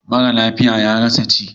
Mara lafiya ya rasa ci.